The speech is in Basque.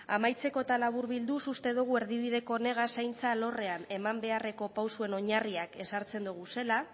amaitzeko eta laburbilduz uste dugu erdibideko honegaz zaintza alorrean eman beharreko pausuen oinarriak ezartzen doguzela